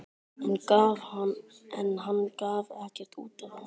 En hann gaf ekkert út á það.